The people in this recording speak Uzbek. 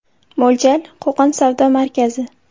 Mo‘ljal: Qo‘qon savdo markazi.